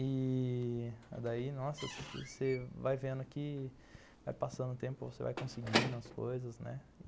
E... daí nossa, você vai vendo que vai passando o tempo, você vai conseguindo as coisas, né.